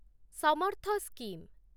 Samarth scheme